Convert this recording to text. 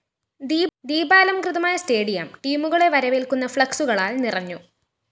ദീപാലംകൃതമായ stadium ടീമുകളെ വരവേല്‍ക്കുന്ന ഫ്‌ളക്‌സുകളാല്‍ നിറഞ്ഞു